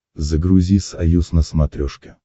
загрузи союз на смотрешке